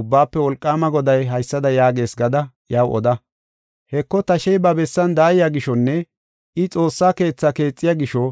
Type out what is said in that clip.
Ubbaafe Wolqaama Goday haysada yaagees gada iyaw oda: heko, tashey ba bessan daaya gishonne I xoossa keetha keexiya gisho,